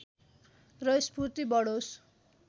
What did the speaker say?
र स्फूर्ति बढोस्